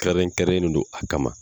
Kɛrɛn kɛrɛnlen do a kama.